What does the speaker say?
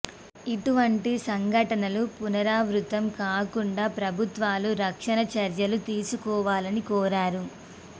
ఇటువంటి సంఘటనలు పునరావృతం కాకుండా ప్రభుత్వాలు రక్షణ చర్యలు తీసుకోవాలని కోరారు